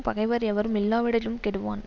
பகைவர் எவரும் இல்லாவிடிலும் கெடுவான்